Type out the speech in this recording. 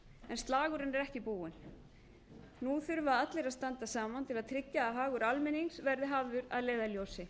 en slagurinn er ekki búinn nú þurfa allir að standa saman til að tryggja að hagur almennings verði hafður að leiðarljósi